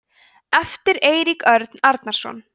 eftir eirík örn arnarson